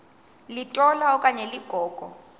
litola okanye ligogo